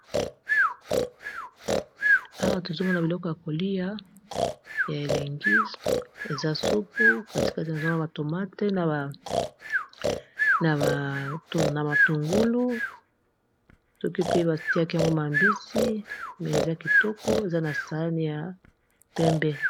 awa tozongo na biloko ya kolia ya elengi eza supu katikate na zongo ya matomate na matungulu soki poi batiaki yango mabisi me eza kitoko eza na sani ya pembe